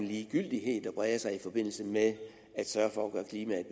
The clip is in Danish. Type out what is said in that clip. ligegyldighed der breder sig i forbindelse med at sørge for at gøre klimaet